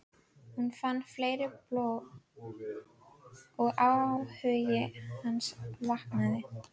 Hún fann fleiri blóm og áhugi hans vaknaði.